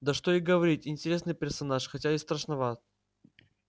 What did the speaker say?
да что и говорить интересный персонаж хотя и страшноват